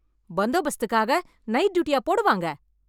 பந்தோபஸ்துக்காக night டியூட்டியா போடுவாங்க.